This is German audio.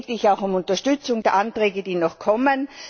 Deswegen bitte ich auch um Unterstützung der Anträge, die noch kommen.